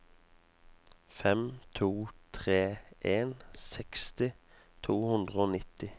fem to tre en seksti to hundre og nitti